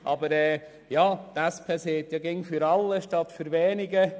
Die SP sagt ja immer «für alle statt für wenige».